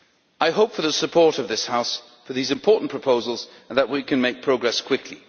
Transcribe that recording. I hope for the support of this House for these important proposals, and I hope that we can make progress quickly.